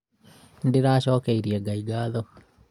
nĩndĩracokeria nga ngatho